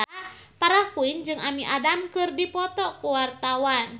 Farah Quinn jeung Amy Adams keur dipoto ku wartawan